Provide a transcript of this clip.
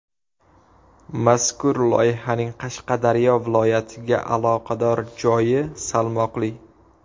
Mazkur loyihaning Qashqadaryo viloyatiga aloqador joyi salmoqli.